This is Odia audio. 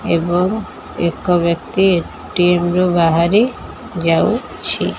ଏବଂ ଏକ ବ୍ୟକ୍ତି ଟିମ୍ ରୁ ବାହାରି ଯାଉଛି।